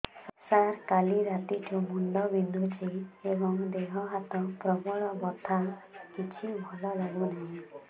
ସାର କାଲି ରାତିଠୁ ମୁଣ୍ଡ ବିନ୍ଧୁଛି ଏବଂ ଦେହ ହାତ ପ୍ରବଳ ବଥା କିଛି ଭଲ ଲାଗୁନି